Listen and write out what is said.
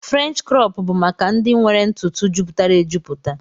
French crọp bu maka ndi nwere ntutu juputara ejuputa.